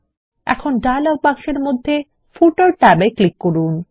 এখন ডায়লগ বাক্সের মধ্যে ফুটার ট্যাবে ক্লিক করুন